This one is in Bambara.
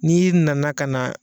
N'i nana ka na.